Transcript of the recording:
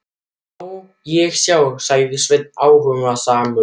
Má ég sjá, sagði Svenni áhugasamur.